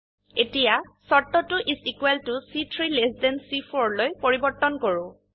এতিয়া শৰ্তটো is equal ত চি3 লেছ থান C4লৈ পৰিবৰ্তন কৰো